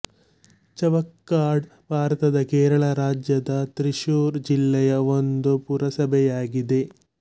ಚವಕ್ಕಾಡ್ ಭಾರತದ ಕೇರಳ ರಾಜ್ಯದ ತ್ರಿಶೂರ್ ಜಿಲ್ಲೆಯ ಒಂದು ಪುರಸಭೆಯಾಗಿದೆ